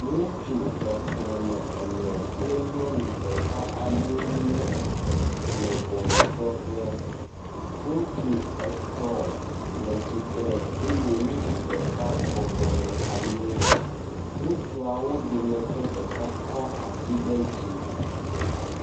Ŋutsu xexleme ene kple nyɔnu ɖeka aɖee nye esi le ŋɔnudrɔƒe. Ŋutsu etɔ̃ le tsitre eye ŋutsu ɖeka bɔbɔnɔ anyi. Ŋutsuawo dometɔ ɖeka kɔ asi ɖe dzi.